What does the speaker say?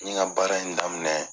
N ɲe n ka baara in daminɛ